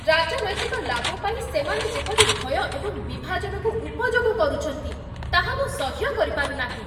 ରାଜନୈତିକ ଲାଭ ପାଇଁ ସେମାନେ ଯେପରି ଭୟ ଏବଂ ବିଭାଜନକୁ ଉପଯୋଗ କରୁଛନ୍ତି, ତାହା ମୁଁ ସହ୍ୟ କରିପାରୁନାହିଁ।